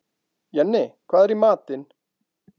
Jenni, hvað er í matinn?